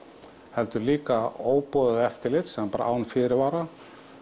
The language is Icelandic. heldur líka óboðað eftirlit sem er bara án fyrirvara